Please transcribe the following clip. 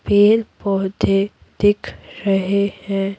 पेड़ पौधे दिख रहे हैं।